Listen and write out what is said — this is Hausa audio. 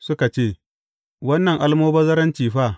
Suka ce, Wannan almubazzaranci fa!